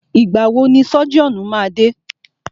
Ìgbà wọ ni sọ́jíọ̀nù máa dé?